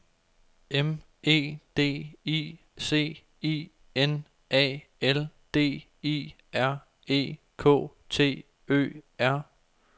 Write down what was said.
M E D I C I N A L D I R E K T Ø R